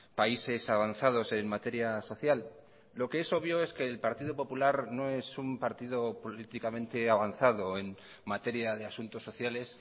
países avanzados en materia social lo que es obvio es que el partido popular no es un partido políticamente avanzado en materia de asuntos sociales